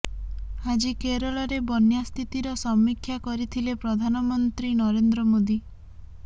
ଆଜି କେରଳରେ ବନ୍ୟା ସ୍ଥିତିର ସମୀକ୍ଷା କରିଥିଲେ ପ୍ରଧାନମନ୍ତ୍ରୀ ନରେନ୍ଦ୍ର ମୋଦି